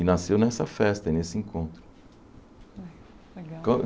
E nasceu nessa festa, nesse encontro.